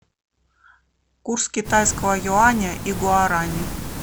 курс китайского юаня и гуарани